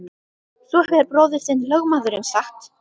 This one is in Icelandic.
Svo hefur bróðir þinn lögmaðurinn sagt!